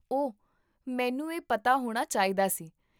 ਓਹ, ਮੈਨੂੰ ਇਹ ਪਤਾ ਹੋਣਾ ਚਾਹੀਦਾ ਸੀ